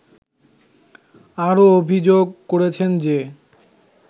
আরও অভিযোগ করেছেন যে